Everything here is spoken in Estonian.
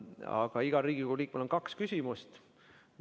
Aga igal Riigikogu liikmel on kaks küsimust.